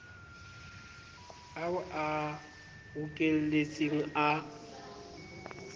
ao o a bokelletseng a